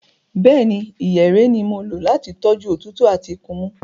Bẹ́ẹ̀ni, ìyèré ni mo lò láti tọ́jú òtútù àti ikunmú.